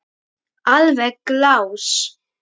Alveg glás.